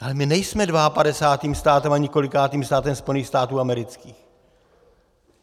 Ale my nejsme dvaapadesátým státem ani kolikátým státem Spojených států amerických.